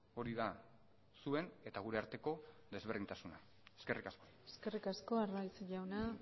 hori da zuen eta gure arteko ezberdintasuna eskerrik asko eskerrik asko arraiz jauna